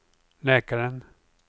läkaren